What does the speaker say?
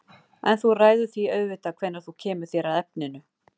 En þú ræður því auðvitað hvenær þú kemur þér að efninu.